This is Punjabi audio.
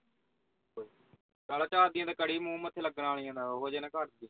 ਚਁਲ ਕਰੀ ਮੂੰਹ ਮੱਥੇ ਲੱਗਣ ਵਾਲੀਆਂ ਨਾ ਉਹੋ ਜੇ ਨਾ ਘੱਲ ਦੀ